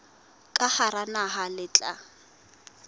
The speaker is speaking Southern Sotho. ka hara naha le tla